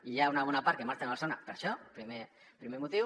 i n’hi ha una bona part que marxen a barcelona per això primer motiu